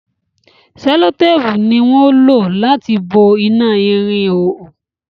sellotape ní wón o lati bo ina ìrìn ìhoho